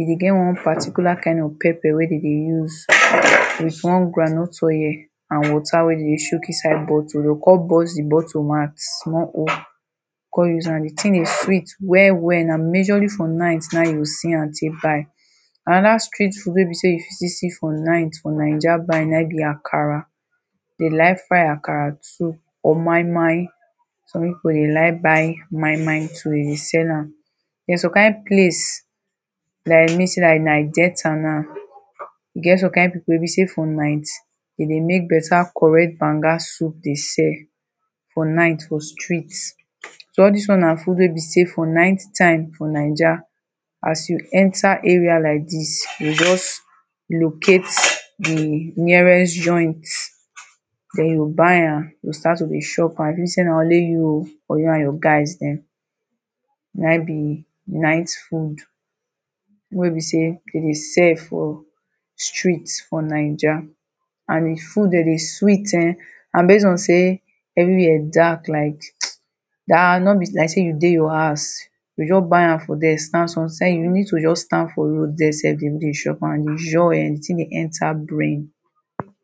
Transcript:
E dey get one particular kain of pepper wey dey dey use with one groundnut oil and water wey dey dey chook inside bottle o, kon burst di bottle mouth small o, kon use am. Di tin dey sweet well well. Na majorly for night na e you go see am take buy. Another street food wey be say you fit still see for night for Naija na im be Akara. Dey like fry Akara too or moimoi. Some people dey like buy moimoi so dey dey sell am. Then, some kain place like say like Delta now, e get some kain people wey be say for night, dey dey make better correct banga soup dey sell for night, for street. So all these ones na food wey be say for night time for Naija, as you enter area like dis, you go just locate di nearest joint, then you buy am, you go start to dey chop am, if say na only you or you and your guys dem. Na im be night food. Food wey be say dey dey sell for street for Naija. And di food dey dey sweet eh, and base on say everywhere dark like no be like say you dey your house. You go just buy am from there stand you need to just stand for road der sef begin dey chop am. Joy—di tin dey enter brain!